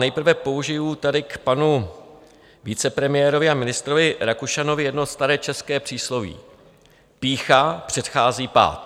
Nejprve použiji tady k panu vicepremiérovi a ministrovi Rakušanovi jedno staré české přísloví: Pýcha předchází pád.